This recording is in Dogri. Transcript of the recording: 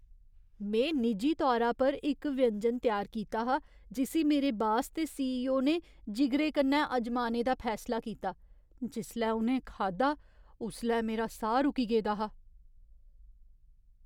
में निजी तौरा पर इक व्यंजन त्यार कीता हा जिस्सी मेरे बास ते सीईओ ने जिगरे कन्नै अजमाने दा फैसला कीता। जिसलै उ'नें खाद्धा उसलै मेरा साह् रुकी गेदा हा।